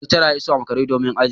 Lecturer ya iso a makare domin ajin